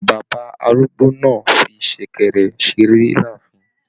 Bàbá arúgbó náà fí sẹ̀kẹ̀rẹ̀ seré láàfin.